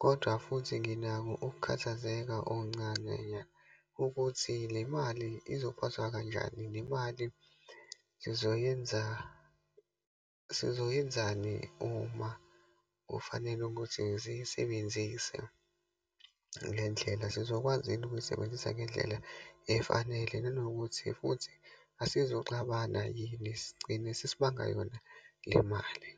Kodwa futhi nginako ukukhathazeka okuncane nya. Ukuthi le mali izophathwa kanjani, le mali sizoyenza, sizoyenzani uma kufanele ukuthi ziyisebenzise le ndlela. Sizokwazi yini ukuyisebenzisa ngendlela efanele, nanokuthi futhi asizuxabana yini, sigcine sesibanga yona le mali.